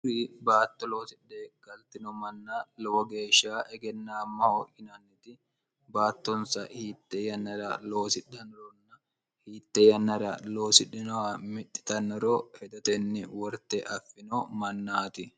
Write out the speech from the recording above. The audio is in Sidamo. hurri baatto loosidhe kaltino manna lowo geeshsha egennaammaho yinanniti baattonsa hiitte yannara loosidhinoronna hiitte yannara loosidhinoha mixxitannoro hedotenni worte affino mannaati